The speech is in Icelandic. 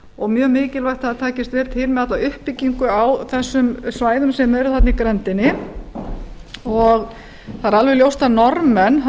og mjög mikilvægt að það takist vel til með alla uppbyggingu á þessum svæðum sem eru þarna í grenndinni það er alveg ljóst að norðmenn